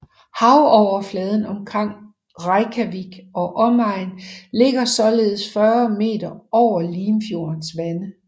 Havoverfladen omkring Reykjavik og omegn ligger således cirka 40 meter over Limfjordens vande